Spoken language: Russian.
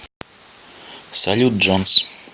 салют джонс